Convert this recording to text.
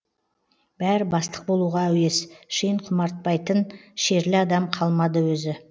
бәрі бастық болуға әуес шен құмартпайтын шерлі адам қалмады өзі